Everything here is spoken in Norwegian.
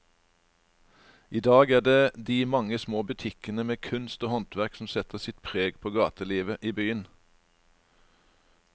I dag er det de mange små butikkene med kunst og håndverk som setter sitt preg på gatelivet i byen.